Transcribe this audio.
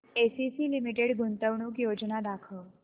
ACC limited गुंतवणूक योजना दाखव